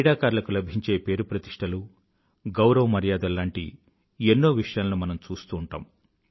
క్రీడాకారులకు లభించే పేరు ప్రతిష్ఠలు గౌరవ మర్యాదలు లాంటి ఎన్నో విషయాలను మనం చూస్తూంటాం